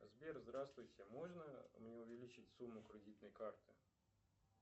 сбер здравствуйте можно мне увеличить сумму кредитной карты